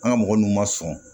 An ka mɔgɔ nun ma sɔn